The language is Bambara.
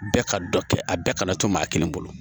Bɛɛ ka dɔ kɛ a bɛɛ kana to maa kelen bolo